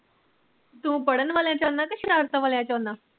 ਤੂੰ ਪੜਨ ਵਾਲਿਆ ਚ ਆਉਂਦਾ ਕ ਸ਼ਰਾਰਤਾ ਕਰਨ ਵਾਲਿਆ ਚ ਆਉਂਦਾ